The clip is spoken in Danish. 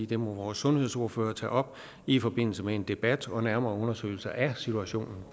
det må vores sundhedsordførere tage op i forbindelse med en debat og nærmere undersøgelser af situationen